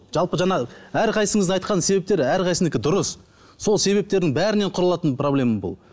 жалпы жаңа әрқайсысыңыздың айтқан себептер әрқайсынікі дұрыс сол себептердің бәрінен құралатын проблема бұл